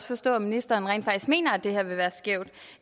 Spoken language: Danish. forstå at ministeren rent faktisk mener at det her vil være skævt